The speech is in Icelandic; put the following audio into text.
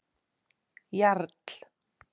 Jarl